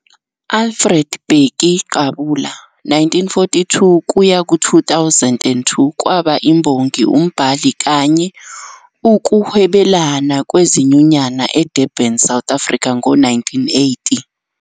Alfred Bheki Qabula, 1942-2002, kwaba imbongi, umbhali kanye ukuhwebelana wezinyunyana e Durban, South Africa ngo 1980.